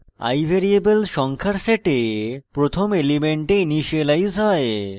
i variable সংখ্যার set প্রথম element initialise হয়